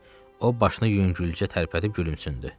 O başını yüngülcə tərpədib gülümsündü.